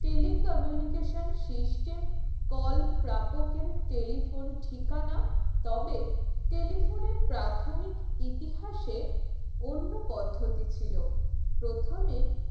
tele communication system call প্রাপকের telephone ঠিকানা তবে telephone এর প্রাথমিক ইতিহাসে অন্য পদ্ধতি ছিল প্রথমে